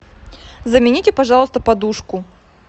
замените пожалуйста подушку